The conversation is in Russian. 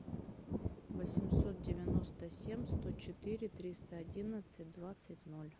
восемьсот девяносто семь сто четыре триста одиннадцать двадцать ноль